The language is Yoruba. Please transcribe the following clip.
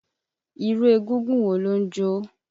Irú egúngún wo ló ń jó?